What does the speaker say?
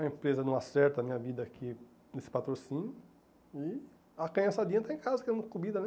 A empresa não acerta a minha vida aqui nesse patrocínio e a canhaçadinha está em casa querendo comida, né?